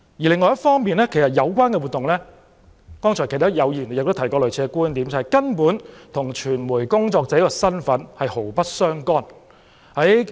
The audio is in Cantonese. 另一方面，有議員剛才亦提到類似的觀點，即有關活動根本與傳媒工作者的身份毫不相干。